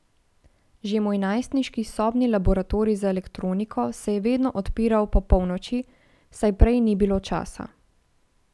Že moj najstniški sobni laboratorij za elektroniko se je vedno odpiral po polnoči, saj prej ni bilo časa.